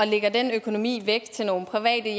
lægger den økonomi væk til nogle private